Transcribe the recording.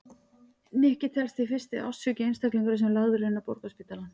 Nikki telst því fyrsti ástsjúki einstaklingurinn sem lagður er inn á Borgarspítalann.